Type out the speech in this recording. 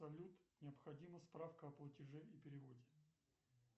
салют необходима справка о платеже и переводе